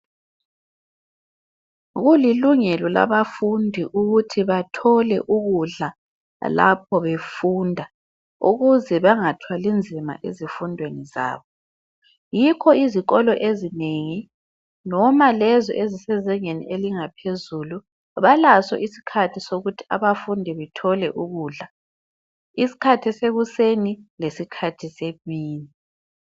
Kulilungelo labafundi ukuthi bathole ukudla lapho befunda ukuze bangathwali nzima ezifundweni zabo, yikho izikolo ezinengi noma lezi ezisezingeni elingaphezulu balaso isikhathi sokuthi abafundi bethole ukudla isikhathi sekuseni lesikhathi semini.